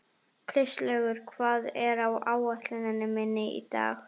Kristlaugur, hvað er á áætluninni minni í dag?